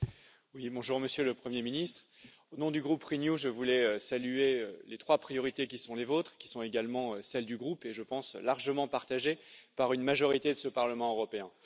Monsieur le Président, Monsieur le Premier ministre, au nom du groupe Renew, je voulais saluer les trois priorités qui sont les vôtres, et qui sont également celles du groupe, et je pense largement partagées par une majorité de ce Parlement européen.